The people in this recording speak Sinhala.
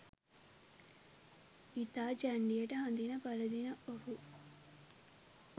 ඉතා ජැන්ඩියට හඳින පළඳින ඔහු